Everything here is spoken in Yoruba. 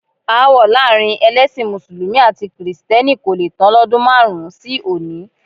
Aáwọ̀ láàrin ẹlẹ́sìn mùsùlùmí àti kìrìsìtẹ́nì kò le tán lọ́dún márùn-ún sí òní.